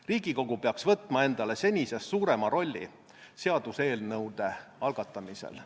Riigikogu peaks võtma endale senisest suurema rolli seaduseelnõude algatamisel.